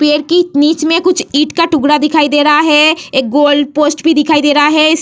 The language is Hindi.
पेड़ की नीच में एक ईट का टुकड़ा दिखाई दे रहा है। एक गोल पोस्ट भी दिखाई दे रहा है। इस--